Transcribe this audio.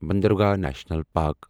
باندرگاہ national park